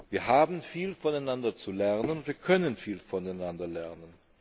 Wir haben viel voneinander zu lernen, und wir können viel voneinander lernen.